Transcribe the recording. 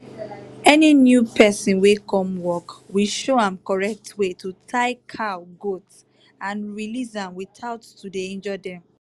any new person wey come work we show am correct way to tie cow/goat and release am without to dey injure dem.